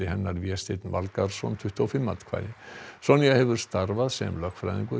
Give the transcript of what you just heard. hennar Vésteinn Valgarðsson tuttugu og fimm atkvæði Sonja hefur starfað sem lögfræðingur